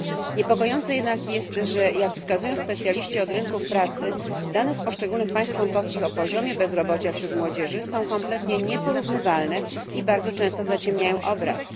Niepokojące jednak jest, że, jak wskazują specjaliści od rynków pracy, dane z poszczególnych państw członkowskich o poziomie bezrobocia wśród młodzieży są kompletnie nieporównywalne i bardzo często zaciemniają obraz.